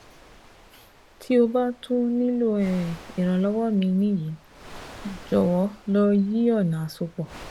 ti o ba tun nilo um iranlọwọ mi ni yi, jọwọ lo yi ọna asopọ